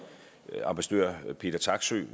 ambassadør peter taksøe